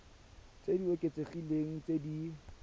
tse di oketsegileng tse di